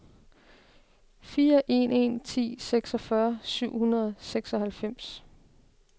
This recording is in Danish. fire en en ni seksogfyrre syv hundrede og seksoghalvfems